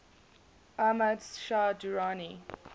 ahmad shah durrani